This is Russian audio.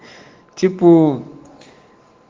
типу